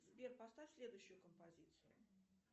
сбер поставь следующую композицию